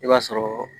I b'a sɔrɔ